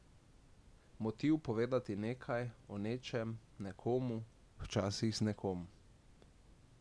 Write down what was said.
Motiv povedati nekaj, o nečem, nekomu, včasih z nekom ...